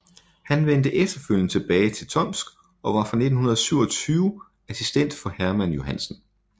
Han vendte efterfølgende tilbage til Tomsk og var fra 1927 assistent for Hermann Johansen